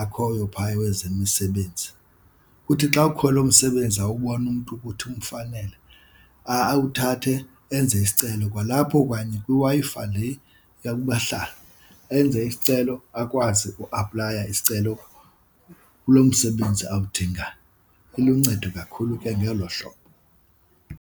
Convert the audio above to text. akhoyo phaya wezemisebenzi. Kuthi xa kukho lo msebenzi awubona umntu ukuthi umfanele awuthathe enze isicelo kwalapho kanye kwiWi-Fi le yakubahlali, enze isicelo akwazi uaplaya isicelo kulo msebenzi awudingayo. Kuluncedo kakhulu ke ngelo hlobo.